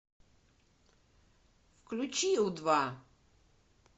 включи у два